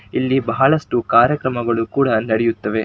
ಇಲ್ಲಿ ಬಹಳಷ್ಟು ಕಾರ್ಯಕ್ರಮಗಳು ಕೂಡ ನಡೆಯುತ್ತವೆ.